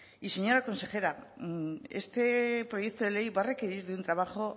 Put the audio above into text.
y señora consejera este proyecto de ley va a requerir de un trabajo